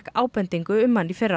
ábendingu um hann í fyrra